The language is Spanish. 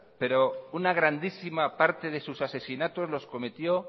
pero una grandísima parte de sus asesinatos los cometió